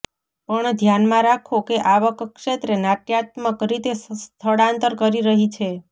પણ ધ્યાનમાં રાખો કે આવક ક્ષેત્રે નાટ્યાત્મક રીતે સ્થળાંતર કરી રહી છે